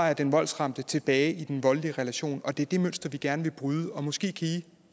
er den voldsramte tilbage i den voldelige relation og det er det mønster vi gerne vil bryde måske kan i